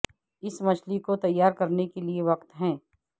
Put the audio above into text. اس مچھلی کو تیار کرنے کے لئے وقت ہے